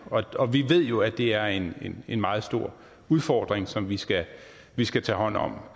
og vi ved jo at det er en en meget stor udfordring som vi skal vi skal tage hånd om